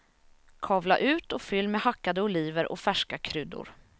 Kavla ut och fyll med hackade oliver och färska kryddor.